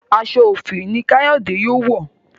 aṣọ òfì ní Kayode yóò wọ